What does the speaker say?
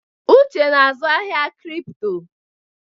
Uche na-azụ ahịa cripto.